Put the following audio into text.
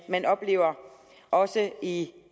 man oplever også i det